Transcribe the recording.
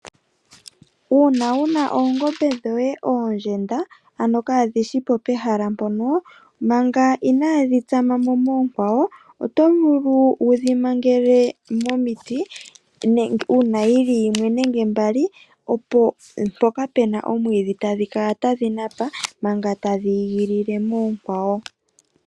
Uuna wuna oongombe dhoye oondjenda ano kaadhishipo pehala mpono ,Manga inaadhi tsama mo moonkwawo oto vulu okudhi mangela